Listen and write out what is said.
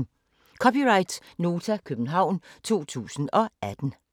(c) Nota, København 2018